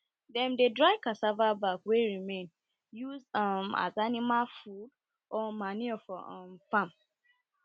dem dey dry cassava back wey remain use um as animal food or manure for um farm